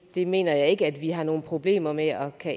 det mener jeg ikke vi har nogen problemer med at